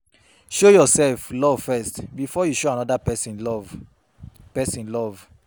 Show yourself love first before you show another persin love persin love